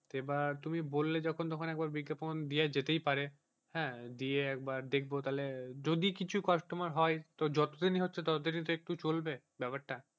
তো এবার তুমি বললে যখন তো একবার বিজ্ঞাপন যাওয়া যেতেই পারে হ্যাঁ দিয়ে একবার দেখবো তাহলে যদি কিছু customer হয় তো যতদিনই হচ্ছে ততদিনই একটু চলবে ব্যাপারটা,